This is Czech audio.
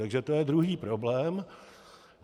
Takže to je druhý problém.